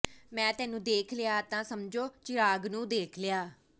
ਮੈਂ ਤੇਨੂੰ ਦੇਖ ਲਿਆ ਤਾਂ ਸਮਝੋ ਚਿਰਾਗ ਨੂੰ ਦੇਖ ਲਿਆ